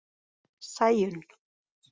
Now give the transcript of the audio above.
Sæunn